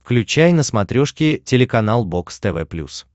включай на смотрешке телеканал бокс тв плюс